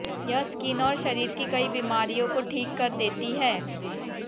यह स्किन और शरीर की कई बीमारियों को ठीक कर देती है